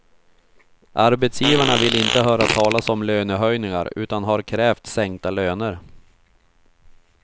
Arbetsgivarna vill inte höra talas om lönehöjningar utan har krävt sänkta löner.